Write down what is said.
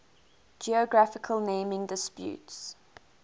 geographical naming disputes